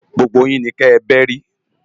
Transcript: Gbógbó yin ni kè bèri